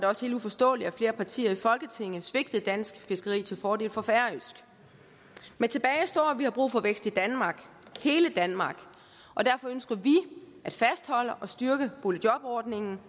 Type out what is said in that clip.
også helt uforståeligt at flere partier i folketinget svigtede dansk fiskeri til fordel for færøsk men tilbage står at vi har brug for vækst i danmark hele danmark og derfor ønsker vi at fastholde og styrke boligjobordningen